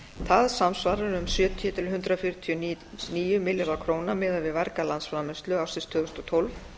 það samsvarar um sjötíu til hundrað fjörutíu og níu milljarða króna miðað við verga landsframleiðslu ársins tvö þúsund og tólf